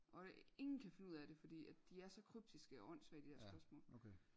Og det ingen kan finde ud af det fordi at de er så kryptiske og åndssvage de dér spørgsmål